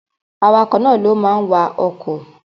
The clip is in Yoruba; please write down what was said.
Awakọ̀ náà ló ma wa ọkọ̀